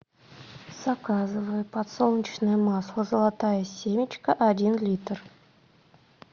заказывай подсолнечное масло золотая семечка один литр